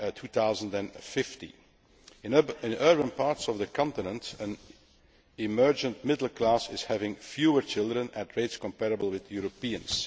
2050. In urban parts of the continent, an emergent middle class is having fewer children at rates comparable with Europeans.